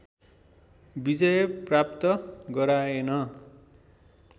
विजय प्राप्त गराएन